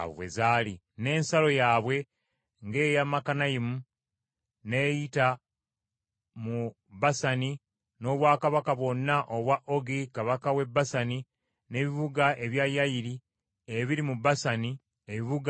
N’ensalo yaabwe ng’eya Makanayimu, n’eyita mu Basani n’obwakabaka bwonna obwa Ogi kabaka w’e Basani, n’ebibuga ebya Yayiri, ebiri mu Basani ebibuga nkaaga;